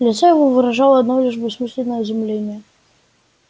лицо его выражало одно лишь бессмысленное изумление